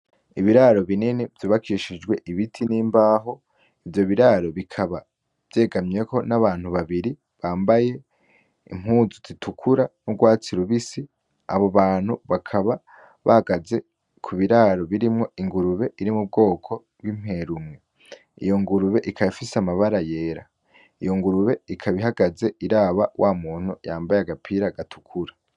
Ibiraro binini vyubakishijwe ibiti n'imbaho, ivyo biraro bikaba vyegamiweko n'abantu babiri bamabaye impuzu zitukura n'urwatsi rubisi, abo bantu bakaba bahagaze ku biraro birimwo ingurube iri mu bwoko bw'imperumwe, iyo ngurube ikaba ifise amabara yera, iyo ngurube ikaba ihagaze iraba wa muntu yambaye agapira gatukura.